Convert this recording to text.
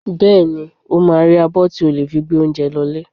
Bẹ́ẹ̀ni, ó máa rí abọ́ tí ò lè fi gbé oúnjẹ lọ lé.